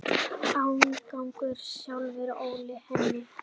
Ágangur sjávar olli henni.